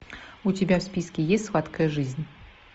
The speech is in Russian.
у тебя в списке есть сладкая жизнь